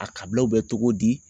A kabilaw bɛ cogo di